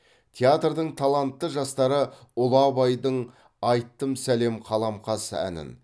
театрдың талантты жастары ұлы абайдың айттым сәлем қаламқас әнін